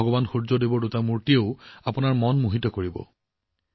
ভগৱান সূৰ্য্য দেৱৰ দুটা মূৰ্তিয়েও আপোনালোকক মোহিত কৰিব